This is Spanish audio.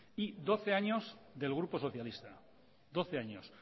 y doce años del grupo socialista doce años